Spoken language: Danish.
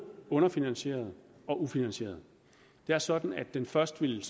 underfinansieret og ufinansieret det er sådan at den først ville